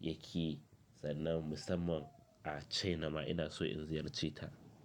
yake, sannan musamman a, China ma ina so in ziyarceta.